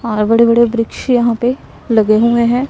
और बड़े बड़े वृक्ष यहां पे लगे हुए हैं।